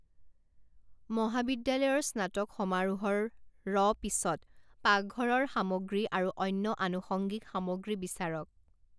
মহাবিদ্যালয়ৰ স্নাতক সমাৰোহৰ ৰ পিছত পাকঘৰৰ সামগ্ৰী আৰু অন্য আনুষঙ্গিক সামগ্ৰী বিচাৰক।